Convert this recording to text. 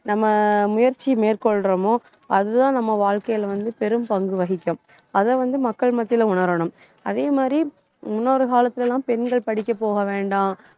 நம்ம முயற்சி மேற்கொள்றோமோ அதுதான் நம்ம வாழ்க்கையில வந்து, பெரும்பங்கு வகிக்கும். அதை வந்து, மக்கள் மத்தியில உணரணும் அதே மாதிரி முன்னொரு காலத்துல எல்லாம் பெண்கள் படிக்க போக வேண்டாம்